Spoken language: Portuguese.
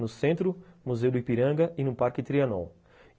No centro, o Museu do Ipiranga e no Parque Trianon.